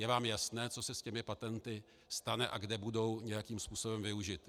Je vám jasné, co se s těmi patenty stane a kde budou nějakým způsobem využity.